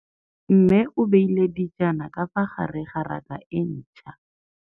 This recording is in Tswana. Mmê o beile dijana ka fa gare ga raka e ntšha.